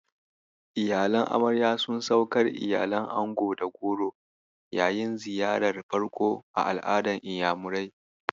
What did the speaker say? Iyalan amarya sun saukar iyalan ango da goro yayin ziyarar farko a al'adar Inyamurai.